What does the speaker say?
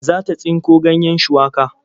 Za ta tsinko ganyen shuwaka.